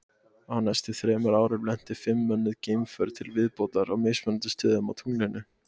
Á næstu þremur árum lentu fimm mönnuð geimför til viðbótar á mismunandi stöðum á tunglinu.